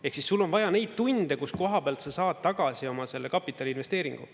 Ehk siis sul on vaja neid tunde, kus koha pealt sa saad tagasi oma kapitaliinvesteeringu.